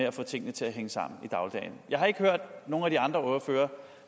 at få tingene til hænge sammen i dagligdagen jeg har ikke hørt nogen af de andre ordførere